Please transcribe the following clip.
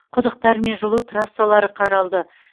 құдықтар мен жылу трассалары қаралды